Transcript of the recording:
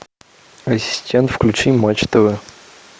ассистент включи матч тв